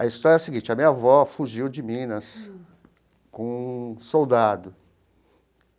A história é a seguinte, a minha avó fugiu de Minas com um soldado.